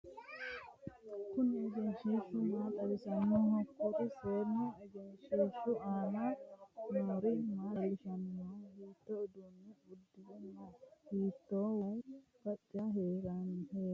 Kunni egenshiishi maa xawissanoho? Kuri seenu egenshiishu aanna noori maa leelishanni no? Hiitto uduune udere no? Hiitoo wayi qacera haranni no?